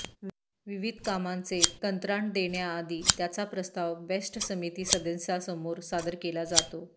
विविध कामांचे कंत्राट देण्याआधी त्याचा प्रस्ताव बेस्ट समिती सदस्यांसमोर सादर केला जातो